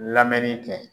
Lamɛnni kɛ